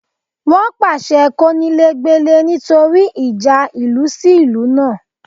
Wọ́n pàṣẹ kónílé gbélé nítorí ìjà ìlú sí ìlú náà